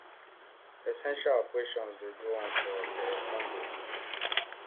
essential operations dey go on for dr congo